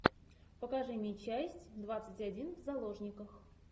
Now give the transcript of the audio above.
покажи мне часть двадцать один в заложниках